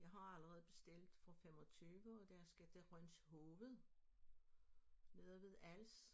Jeg har allerede bestilt for 25 og der skal til Rønshoved nede ved Als